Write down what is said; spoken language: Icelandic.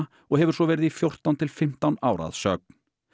og hefur svo verið í fjórtán til fimmtán ár að sögn